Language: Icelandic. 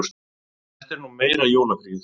Þetta er nú meira jólafríið!